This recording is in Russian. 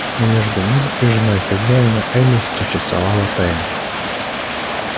но между ним и женой хозяина элис существовала тайна